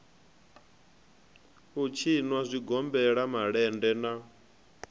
u tshinwa zwigombela malende na